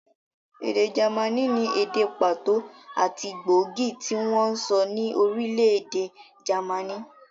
Èdè jámànì ni èdè pàtó àti gbóògì tí wọ́n ń sọ ní orílẹ̀-èdè jámànì.